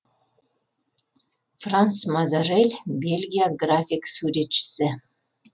франс мазерель бельгия график суретшісі